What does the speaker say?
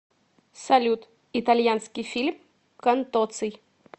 салют итальянский фильм контоций